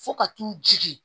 Fo ka t'u jigin